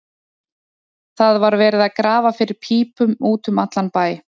Það var verið að grafa fyrir pípum út um allan bæ.